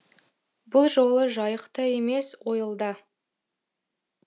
бұл жолы жайықта емес ойылда